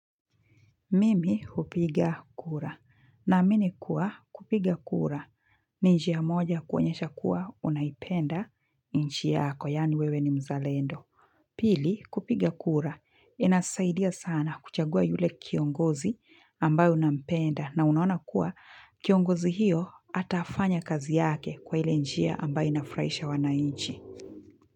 Mimi hupiga kura. Naamini kuwa kupiga kura. Ni njia moja kuonyesha kuwa unaipenda nchi yako. Yaani wewe ni mzalendo. Pili kupiga kura. Inasaidia sana kuchagua yule kiongozi ambayo unampenda. Na unaona kuwa kiongozi hiyo atafanya kazi yake kwa ile njia ambayo inafraisha wananchi.